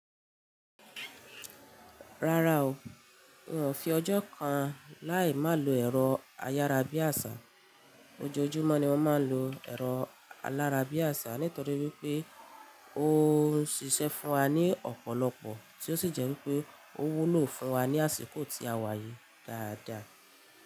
Rárá o, n ò fi ọjọ́ kan láì má lo ẹ̀rọ ayárabíàṣá. Ojojúmọ́ ni mo máa ń lo ẹ̀rọ ayárabíàṣá, nítorí wípé ó ń ṣiṣẹ́ fún wa ní ọ̀pọ̀lọpọ̀, tí ó sì jẹ́ wípé ó wúlò fún wa ní àsìkò tí a wà yìí dáadáa.